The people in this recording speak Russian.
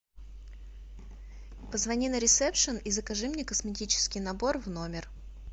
позвони на ресепшен и закажи мне косметический набор в номер